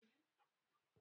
Za muyi zina da ita anjima